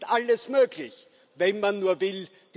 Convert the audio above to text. Es ist alles möglich, wenn man nur will.